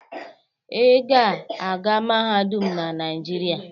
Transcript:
Ị ga-aga mahadum na Nigeria.!